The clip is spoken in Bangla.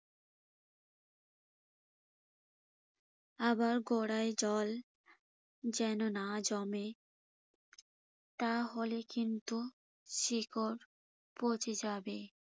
আবার গোরায় জল যেন না জমে। তাহলে কিন্তু শিকড় পচে যাবে।